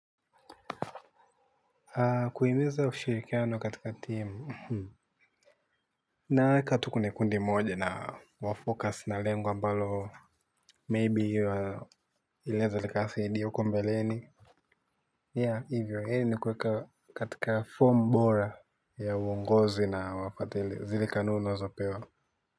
Kuhimiza ushirikiano katika timu naweka tu kwenye kundi moja na tu-focus na lengo ambalo maybe litakamilisha kazi hiyo ya huko mbeleni. Hivyo hivyo ni kuweka katika form bora ya uongozi na kufuatilia kanuni tulizopewa.